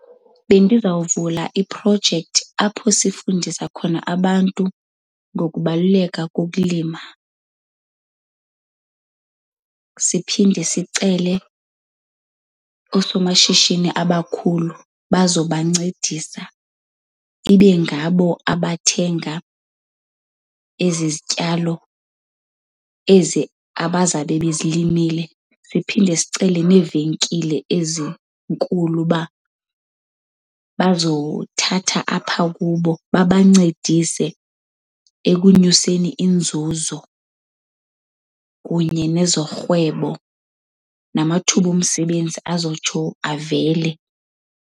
Bendizawuvula iprojekthi apho sifundisa khona abantu ngokubaluleka kokulima. Siphinde sicele oosomashishini abakhulu bazobancedisa. Ibe ngabo abathenga ezi zityalo ezi abazabe bezilimile. Siphinde sicele neevenkile ezinkulu uba bazothatha apha kubo babancedise ekunyuseni inzuzo kunye nezorhwebo, namathuba omsebenzi azotsho avele.